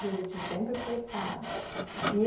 Juruti sempre foi caro. E